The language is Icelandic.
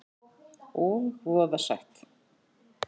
Og voða sætt.